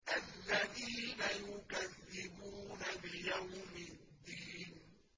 الَّذِينَ يُكَذِّبُونَ بِيَوْمِ الدِّينِ